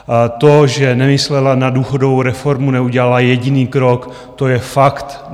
To, že nemyslela na důchodovou reformu, neudělala jediný krok, to je fakt.